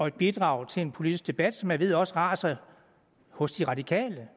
et bidrag til en politisk debat som jeg ved også raser hos de radikale